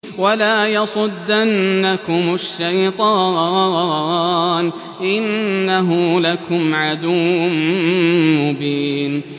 وَلَا يَصُدَّنَّكُمُ الشَّيْطَانُ ۖ إِنَّهُ لَكُمْ عَدُوٌّ مُّبِينٌ